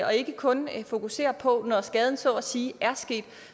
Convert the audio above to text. og ikke kun fokusere på når skaden så at sige er sket